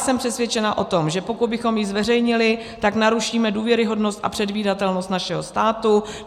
Jsem přesvědčena o tom, že pokud bychom ji zveřejnili, tak narušíme důvěryhodnost a předvídatelnost našeho státu.